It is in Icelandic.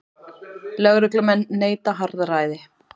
Lögreglumenn neita harðræði